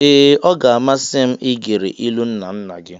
Ee! Ọ ga-amasị m igere ilu nna nna gị.